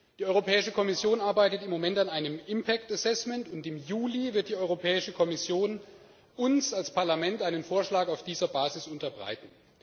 Die Europäische Kommission arbeitet im Moment an einem impact assessment, und im Juli wird die Europäische Kommission uns als Parlament einen Vorschlag auf dieser Basis unterbreiten.